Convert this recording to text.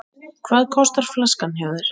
Hvað kostar flaskan hjá þér?